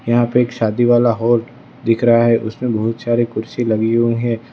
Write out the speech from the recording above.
यहां पे एक शादी वाला हॉल दिख रहा है उसमें बहुत सारे कुर्सी लगी हुई हैं।